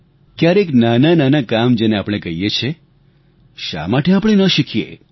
ક્યારેક નાનાનાના કામ જેને આપણે કહીયે છીયે તે શા માટે આપણે ન શીખીયે